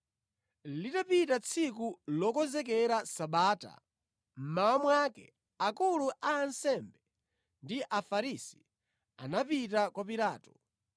Litapita tsiku lokonzekera Sabata, mmawa mwake, akulu a ansembe ndi Afarisi anapita kwa Pilato.